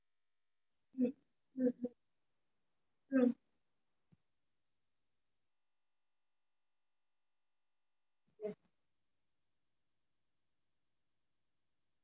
okay ங்களா one meals ல ஆஹ் one meal special meals னால இது வந்து two hundred ஆகும் சரிங்களா இதுவே variety rice ல variety rice ல எந்த மாதிரி mam வேணூம் உங்களுக்கு